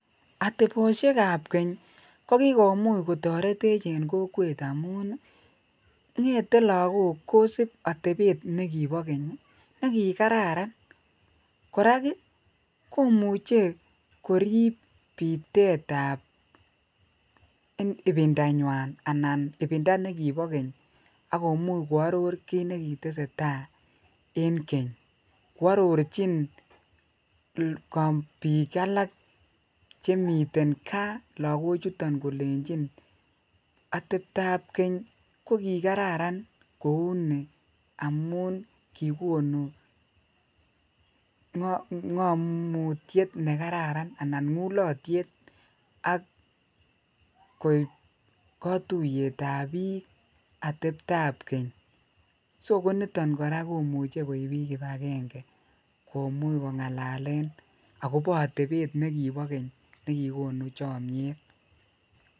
Ateboshakab Keny ko kikomuch kotoretech en kokwet amun ng'ete lokok kosib atebet nekibo keny nekikararan, korak komuche koriib bitetab ibindanywan anan ibinda nekibo keny ak komuch ko aror kiit nekiteseta en keny kwororchin biik alak chemiten kaa lokochuton kolenchin atebtab Keny ko kikararan kouu nii amun kikonu ngomutiet nekararan anan ngulotyet ak kotuyetab biik atebtab keny, so niton kora komuche koib ibakenge komuch kongalalen atebet nikibo Keny kikikonu chomnyet.